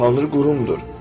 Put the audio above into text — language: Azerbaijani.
Tanrı qurumdur.